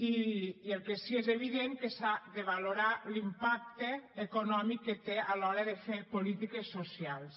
i el que sí és evident és que s’ha de valorar l’impacte econòmic que té a l’hora de fer polítiques socials